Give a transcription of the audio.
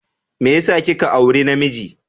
Me yasa kika auri namiji?